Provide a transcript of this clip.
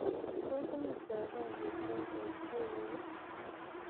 tos mi java omitwogik ab jumia ii